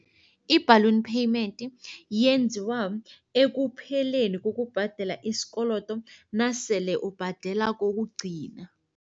I-balloon payment yenziwa ekupheleni kokubhadela isikolodo nasele ubhadela kokugcina.